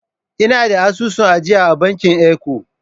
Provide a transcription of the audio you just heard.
Ina da asusun ajiya da bankin Eco.